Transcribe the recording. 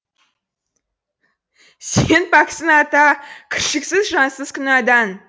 сен пәксің ата кіршіксіз жансың күнәдан